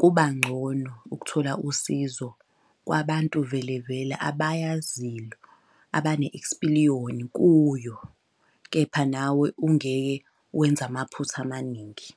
kuba ngcono ukuthola usizo kwabantu vele vela abayaziyo abane ekspiliyoni kuyo. Kepha nawe ungeke wenze amaphutha amaningi.